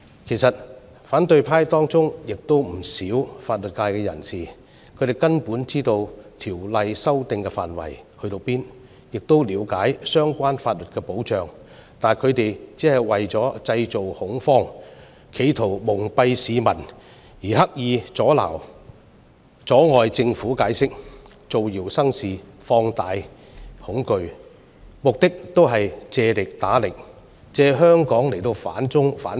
其實，反對派中有不少法律界人士，他們根本知道《條例草案》修訂的範圍，亦了解相關法律的保障，但他們為了製造恐慌，企圖蒙蔽市民，刻意阻礙政府解釋，造謠生事，放大恐懼，目的是借力打力，借香港來反中、反共。